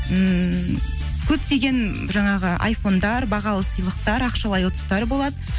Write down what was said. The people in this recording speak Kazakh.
ммм көптеген жаңағы айфондар бағалы сыйлықтар ақшалай ұтыстар болады